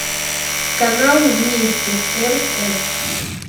канал вместе рф